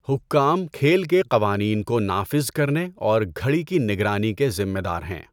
حکام کھیل کے قوانین کو نافذ کرنے اور گھڑی کی نگرانی کے ذمہ دار ہیں۔